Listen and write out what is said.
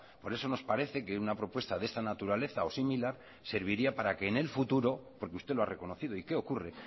por eso nos parece que una propuesta de esta naturaleza o similar serviría para que en el futuro porque usted lo ha reconocido y qué ocurre